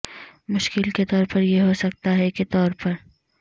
مشکل کے طور پر یہ ہو سکتا ہے کے طور پر